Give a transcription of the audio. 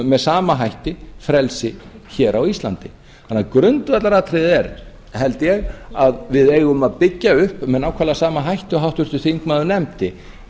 með sama hætti frelsi hér á íslandi þannig að grundvallaratriðið er held ég að við eigum að byggja upp með nákvæmlega sama hætti og háttvirtur þingmaður nefndi